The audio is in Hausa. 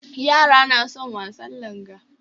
Yara na son wasan langa